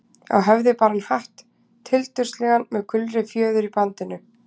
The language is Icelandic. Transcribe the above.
Á höfði bar hann hatt, tildurslegan með gulri fjöður í bandinu.